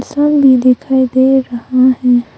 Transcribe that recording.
इंसान भी दिखाई दे रहा है।